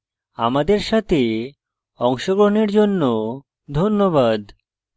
আমাদের সাথে অংশগ্রহণের জন্য ধন্যবাদ